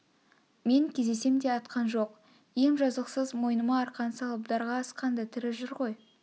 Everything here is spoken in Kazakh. мен кезесем де атқан жоқ ем жазықсыз мойныма арқан салып дарға асқан да тірі жүр ғой